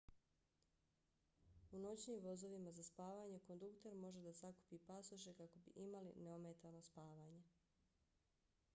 u noćnim vozovima za spavanje kondukter može da sakupi pasoše kako bi imali neometano spavanje